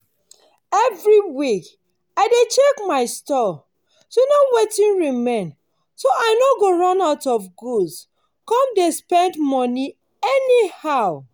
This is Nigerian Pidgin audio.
every week i dey check my store to know wetin remain so i no go run out of goods come go dey spend moni anyhow.